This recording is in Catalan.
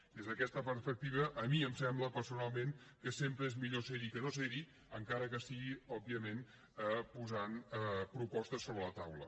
des d’aquesta perspectiva a mi em sembla personalment que sempre és millor ser hi que no ser hi encara que sigui òbviament posant propostes sobre la taula